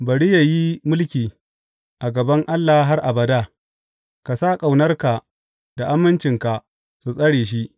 Bari yă yi mulki a gaban Allah har abada; ka sa ƙaunarka da amincinka su tsare shi.